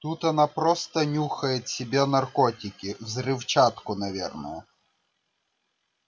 тут она просто нюхает себе наркотики взрывчатку наверное